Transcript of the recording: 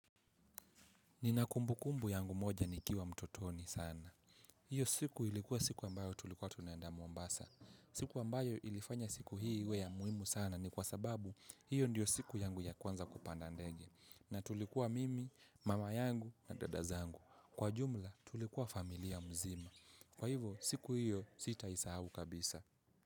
Ninakumbukumbu yangu moja nikiwa mtotoni sana. Hiyo siku ilikuwa siku ambayo tulikuwa tunenda Mombasa. Kitu ambayo iliifanya siku hii iwe ya muhimu sana, ni kwa sababu hiyo ndiyo siku yangu ya kwanza kupanda ndege. Na tulikuwa mimi, mama yangu na dada zangu. Kwa jumla tulikuwa familia mzima. Kwa hivo siku hiyo sitaisahau kabisa.